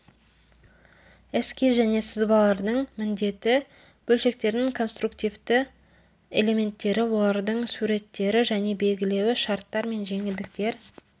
эскиз және сызбалардың міндеті бөлшектердің конструктивті элементтері олардың суреттері және белгілеуі шарттар мен жеңілдіктер